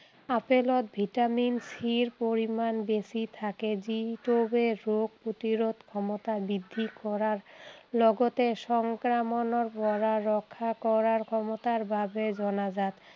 আপোলত vitamin চিৰ পৰিমাণ বেছি থাকে, যিটোৱে ৰোগ প্ৰতিৰোধ ক্ষমতা বৃদ্ধি কৰাৰ লগতে সংক্ৰামণৰ পৰা ৰক্ষা কৰাৰ ক্ষমতাৰ বাবে জনাজাত।